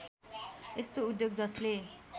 यस्तो उद्योग जसले